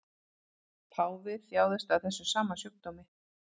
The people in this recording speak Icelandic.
Páfi þjáðist af þessum sama sjúkdómi